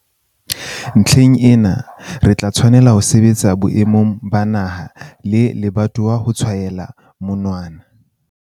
Ntlheng ena, re tla tswella ho sebetsa boemong ba naha le lebatowa ho tshwaela monwana